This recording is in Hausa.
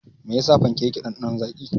Me yasa fanke yake ɗanɗanon zaƙi.